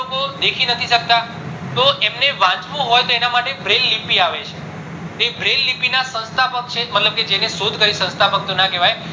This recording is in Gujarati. લોકો દેખી નથી શકતા તો એમને વાંચવું હોઈ તો એના માટે braille લીપી આવે છે તે braille ના સંસ્થાપક છે મતલબ કે જેને શોધ કરી સંસ્થાપક તો ના કેવાય